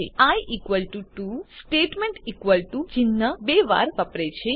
નોંધ લો કે I equal to 2 statement equal to ચિહ્ન બે વાર વાપરે છે